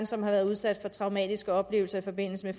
som har været udsat for traumatiske oplevelser i forbindelse